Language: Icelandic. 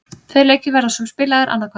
Tveir leikir verða svo spilaðir annað kvöld.